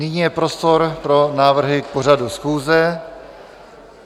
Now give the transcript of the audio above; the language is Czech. Nyní je prostor pro návrhy k pořadu schůze.